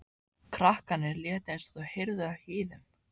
Krakkarnir létu eins og þau heyrðu ekki í þeim.